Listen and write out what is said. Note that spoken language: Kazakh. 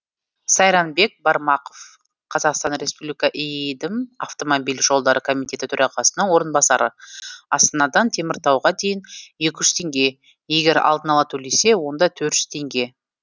сайранбек бармақов қазақстан республикасы иидм автомобиль жолдары комитеті төрағасының орынбасары астанадан теміртауға дейін екі жүз теңге егер алдын ала төлесе онда төрт жүз теңге